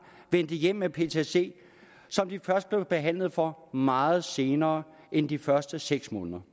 vendte hjem med ptsd som de først blev behandlet for meget senere end de første seks måneder